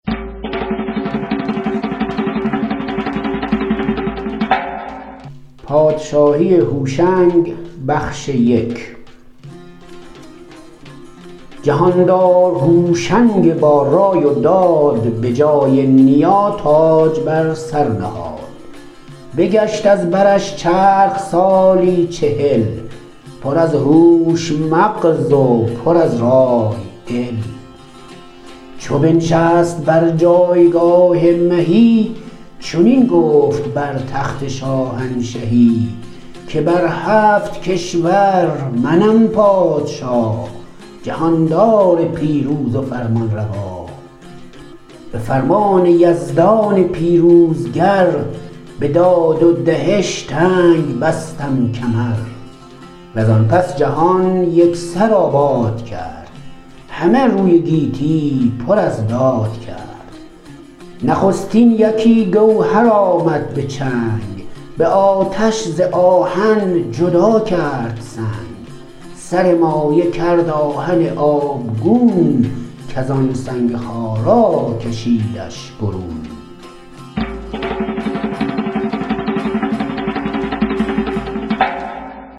جهاندار هوشنگ با رای و داد به جای نیا تاج بر سر نهاد بگشت از برش چرخ سالی چهل پر از هوش مغز و پر از رای دل چو بنشست بر جایگاه مهی چنین گفت بر تخت شاهنشهی که بر هفت کشور منم پادشا جهاندار پیروز و فرمانروا به فرمان یزدان پیروزگر به داد و دهش تنگ بستم کمر و زان پس جهان یک سر آباد کرد همه روی گیتی پر از داد کرد نخستین یکی گوهر آمد به چنگ به آتش ز آهن جدا کرد سنگ سر مایه کرد آهن آبگون کز آن سنگ خارا کشیدش برون